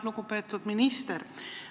Lugupeetud minister!